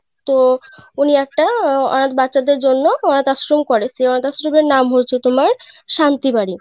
তো উনি একটা আহ অনাথ বাচ্চা দের জন্য অনাথ আশ্রম করে সেই অনাথ আশ্রমের এর নাম হয়েছে তোমার শান্তি বাড়ি.